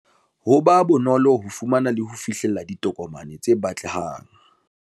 Ho ba bonolo ho fumana le ho fihlella ditokomane tse batlehang